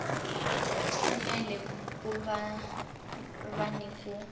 fanele ku va ni ku